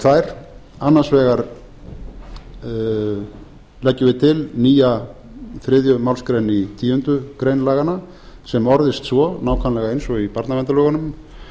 tvær annars vegar leggjum við til nýja þriðju málsgrein í tíundu grein laganna sem orðist svo nákvæmlega eins og í barnaverndarlögunum